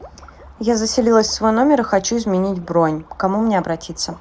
я заселилась в свой номер и хочу изменить бронь к кому мне обратиться